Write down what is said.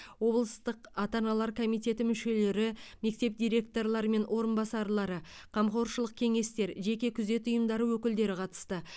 облыстық ата аналар комитетінің мүшелері мектеп директорлары мен орынбасарлары қамқоршылық кеңестер жеке күзет ұйымдарының өкілдері қатысты